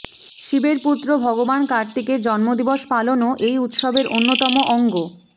শিবের পুত্র ভগবান কার্তিকের জন্মদিবস পালনও এই উৎসবের অন্যতম অঙ্গ